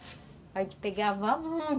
Aí a gente pegava muit